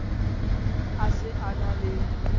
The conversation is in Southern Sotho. a se a na le